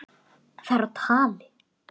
Það er á tali.